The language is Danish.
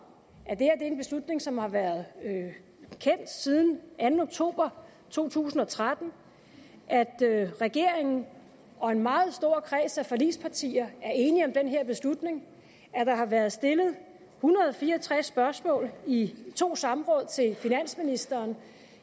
at det her er en beslutning som har været kendt siden den anden oktober to tusind og tretten at regeringen og en meget stor kreds af forligspartier er enige om den her beslutning at der har været stillet en hundrede og fire og tres spørgsmål i to samråd til finansministeren